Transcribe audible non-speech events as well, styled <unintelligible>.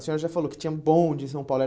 A senhora já falou que tinha bonde em São Paulo. <unintelligible>